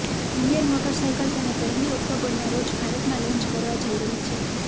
Indian motorcycle તેને પહેલી ઓક્ટોબરના રોજ ભારતમાં લોન્ચ કરવા જઈ રહી છે